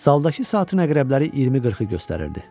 Zaldakı saatın əqrəbləri 20:40-ı göstərirdi.